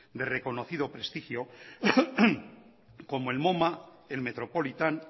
de reconocido prestigio como el moma el metropolitan